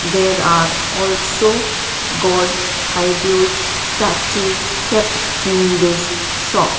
there are also gods ideols statues kept in this shop.